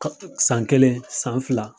San kelen san fila